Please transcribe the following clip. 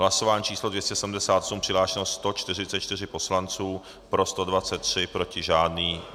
Hlasování číslo 278, přihlášeno 144 poslanců, pro 123, proti žádný.